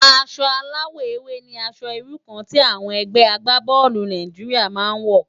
Aṣò àláwò éwé ni ãṣò irú kàn ti ègbé àgbábòlú Nàijiriá má n wò